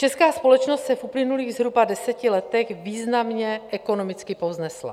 Česká společnost se v uplynulých zhruba deseti letech významně ekonomicky povznesla.